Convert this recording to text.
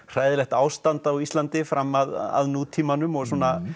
hræðilegt ástand á Íslandi fram að nútímanum og